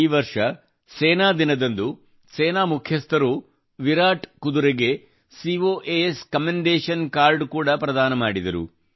ಈ ವರ್ಷ ಸೇನಾ ದಿನದಂದು ಸೇನಾ ಮುಖ್ಯಸ್ಥರು ವಿರಾಟ್ ಕುದುರೆಗೆ ಕೋಸ್ ಕಮೆಂಡೇಶನ್ ಕಾರ್ಡ್ ಕೂಡಾ ಪ್ರದಾನ ಮಾಡಿದರು